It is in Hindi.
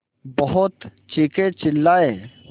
बहुत चीखेचिल्लाये